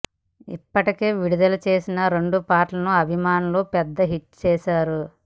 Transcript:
ఇప్పటికే విడుదల చేసిన రెండు పాటలను అభిమానులు పెద్ద హిట్స్ చేశారు